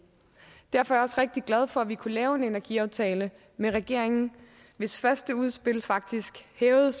derfor er jeg også rigtig glad for at vi kunne lave en energiaftale med regeringen hvis første udspil faktisk hævede